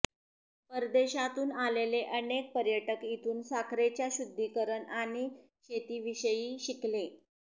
परदेशातून आलेले अनेक पर्यटक इथून साखरेच्या शुद्धीकरण आणि शेतीविषयी शिकले